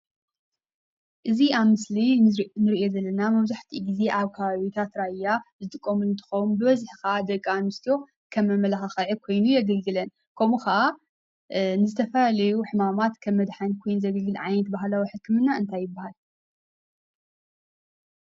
እዚ ኣብ ምስሊ እንርእዮ ዘለና መብዛሕትኡ ግዜ ኣብ ከባቢታት ራያ ዝጥቀሙ እንትኮኑ ብበዝሒ ከዓ ደቂ ኣንሰትዮ ከም መመላክዒ ከይኑ የግልግለን:: ከምኡ ከዓ ንዝተፈላለዩ ሕማማት ከም መድሓኒት ኮይኑ ዘገልግል ዓይነት ባህላዊ ሕክምና እንታይ ይባሃል?